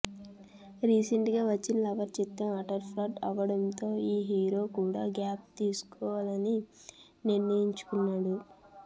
recent గా వచ్చిన lover చిత్రం అట్టర్ ఫ్లాప్ అవ్వడంతో ఈ హీరో కూడా గ్యాప్ తీసుకోవాలని నిర్ణయించుకున్నాడు